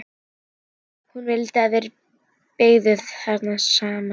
Hún vildi að þær byggju þar saman.